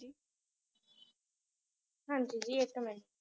ਹਾਂਜੀ ਜੀ ਇੱਕ ਮਿੰਟ,